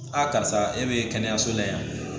karisa e bɛ kɛnɛyaso la yan